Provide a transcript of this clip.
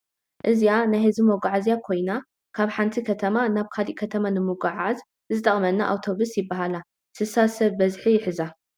እዚኣ ናይ ሕዝቢ ምጛዓዝያ ኮይና ካብ ሓንቲ ክተማ ናብ ካሊእ ክተማ ንምጉዕዓዝ ዝጠቅማና ኣብቶብስ ይብሃላ ስሳ ስብ ብዝሒ ይሕዛ ።